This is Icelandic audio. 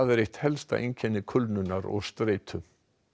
er eitt helsta einkenni kulnunar og streitu